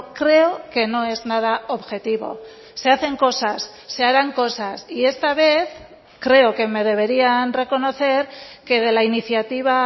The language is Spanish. creo que no es nada objetivo se hacen cosas se harán cosas y esta vez creo que me deberían reconocer que de la iniciativa